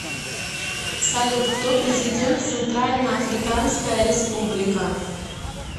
салют кто президент центральноафриканская республика